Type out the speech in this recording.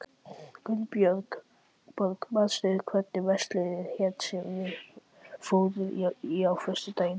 Gunnborg, manstu hvað verslunin hét sem við fórum í á föstudaginn?